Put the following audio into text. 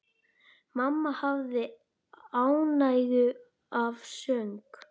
Mamma hafði ánægju af söng.